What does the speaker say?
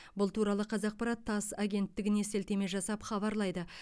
бұл туралы қазақпарат тасс агенттігіне сілтеме жасап хабарлайды